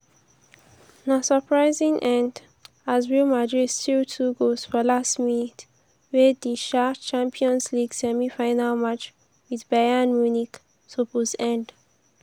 na surprising end as real madrid steal two goals for late minutes wey di um champions league semi-final match wit bayern munich suppose end.